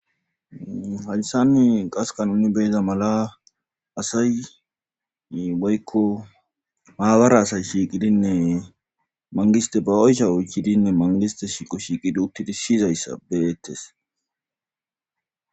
Hayssanne qaska nuni beyza mala asay woykko haabara asay shiiqidinne mangiste ba oysha oychidinne mangiste shiiqo shiiqidi uttidi siyizayssa beettes.